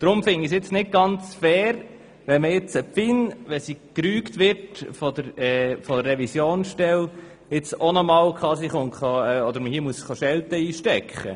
Deshalb finde ich es nicht ganz fair, wenn die FIN nach der Rüge durch die Finanzkontrolle nochmals Schelte einstecken muss.